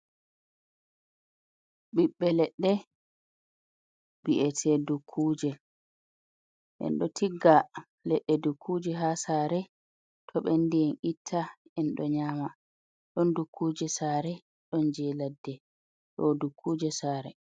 Ɓibbe leɗɗe bi’ete dukkuje en ɗo tigga leɗɗe dukkuje ha sare to bendi en itta en ɗo nyama don dukkuje sare, ɗon je ladde don dukkuje sare.